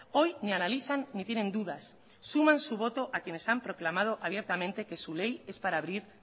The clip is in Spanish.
hoy ni analizan ni tienen dudas suman su voto a quienes han proclamado abiertamente que su ley es para abrir